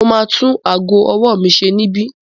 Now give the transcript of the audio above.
Mo ma tún ago ọwọ́ mi ṣe níbí.